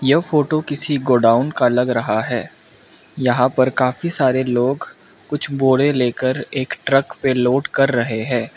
यह फोटो किसी गोडाउन का लग रहा यहां पर काफी सारे लोग कुछ बोरे लेकर एक ट्रक पे लोड कर रहे हैं।